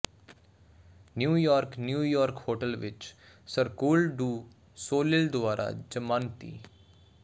New York New York hotel ਵਿਚ Cirque du Soleil ਦੁਆਰਾ ਜ਼ਮਾਨਤੀ